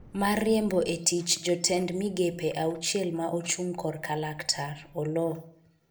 mar riembo e tich jotend migepe auchiel ma ochung' korka laktar Oloo